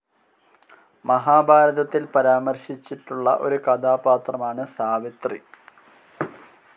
മഹാഭാരതത്തിൽ പരാമർശിച്ചിട്ടുള്ള ഒരു കഥാപാത്രമാണ് സാവിത്രി.